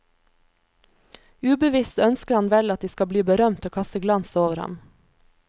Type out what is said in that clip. Ubevisst ønsker han vel at de skal bli berømt og kaste glans over ham.